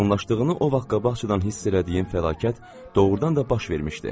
Yaxınlaşdığını o vaxt qabaqcadan hiss elədiyim fəlakət doğrudan da baş vermişdi.